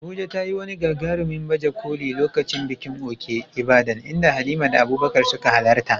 Abuja ta yi wani gagarumin baje koli a lokacin bikin Òkè Ìbàdàn, inda Halima da Abubakar suka halarta.